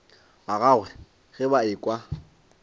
ba gagwe ge ba ekwa